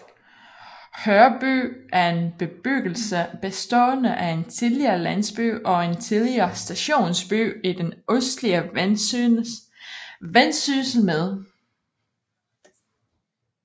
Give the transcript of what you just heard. Hørby er en bebyggelse bestående af en tidligere landsby og en tidligere stationsby i det østlige Vendsyssel med